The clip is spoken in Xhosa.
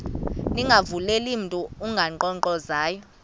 ningavuleli mntu unkqonkqozayo